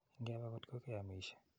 Inge pe ngotko ke amisye.